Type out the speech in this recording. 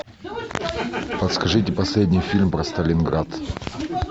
подскажите последний фильм про сталинград